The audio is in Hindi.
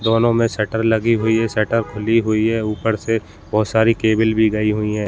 दोनों में शटर लगी हुई है शटर खुली हुई है ऊपर से बहोत सारी केबल भी गयी हुई है।